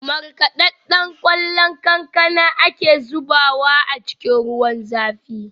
Markaɗaɗɗen ƙwallon kankana ake zubawa a cikin ruwan zafi